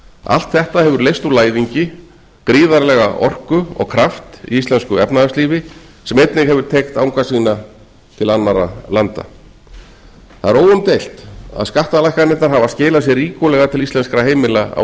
allt þetta hefur leyst úr læðingi gífurlega orku og kraft í íslensku efnahagslífi sem hefur einnig teygt anga sína til annarra landa það er óumdeilt að skattalækkanirnar hafa skilað sér ríkulega til íslenskra heimila á